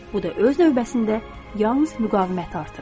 Bu da öz növbəsində yalnız müqaviməti artırır.